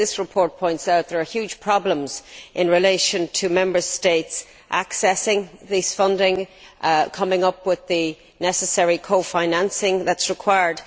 But, as this report points out, there are huge problems in relation to Member States accessing this funding and coming up with the necessary cofinancing that is required.